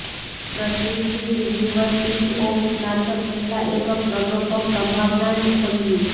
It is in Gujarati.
પ્રતિષ્ઠિત યુનિવર્સિટી ઓફ સ્નાતક પહેલાં એક પ્રલોભક સંભાવનાને ખોલ્યું